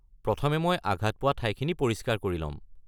প্ৰথমে মই আঘাত পোৱা ঠাইখিনি পৰিষ্কাৰ কৰি ল'ম।